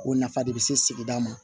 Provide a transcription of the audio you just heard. O nafa de be se sigida ma